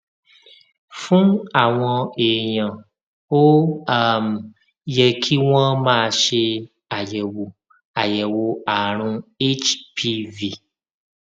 fún àwọn èèyàn ó um yẹ kí wón máa ṣe àyèwò àyèwò àrùn hpv